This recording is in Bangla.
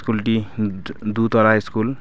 কুল -টি দু তলায় স্কুল এ--